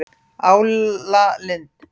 Álalind